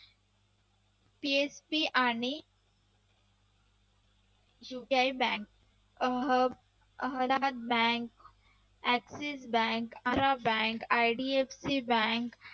PSC आणि UPI bank Ahmedabad bank, Axis Bank, Arab Bank, IDFC bank